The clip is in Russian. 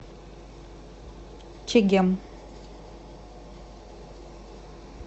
чегем